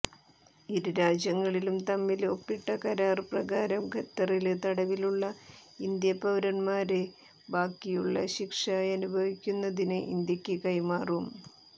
ഇരുരാജ്യങ്ങളും തമ്മില് ഒപ്പിട്ട കരാര് പ്രകാരം ഖത്തറില് തടവിലുള്ള ഇന്ത്യാ പൌരന്മാരെ ബാക്കിയുള്ള ശിക്ഷയനുഭവിക്കുന്നതിന് ഇന്ത്യക്ക് കൈമാറും